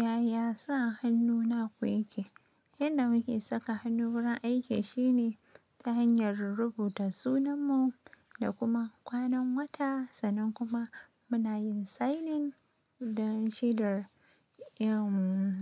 Yaya sa hannu na kwa yake? Yanda muke saka hannu wurin aiki shine ta hanyar rubuta sunanmu da kuma kwanan wata, sannan kuma muna yin signing da shedar